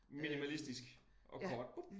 Minimalistisk og kort